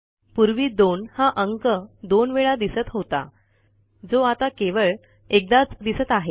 पूर्वी 2 हा अंक 2वेळा दिसत होता जो आता केवळ एकदाच दिसत आहे